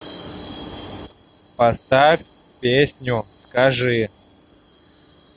поставь песню скажи